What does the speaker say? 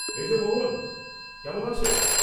এই যে মোহন, কেমন আছ?